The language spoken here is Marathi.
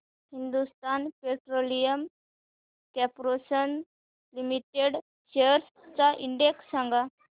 Hindustan petroleum corporation limited shares चा इंडेक्स सांगा